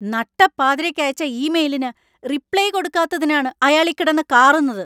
നട്ടപ്പാതിരക്ക് അയച്ച ഇമെയിലിന് റിപ്ലൈ കൊടുക്കാത്തതിനാണ് അയാളീ കിടന്ന് കാറുന്നത്.